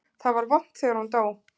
Það var vont þegar hún dó.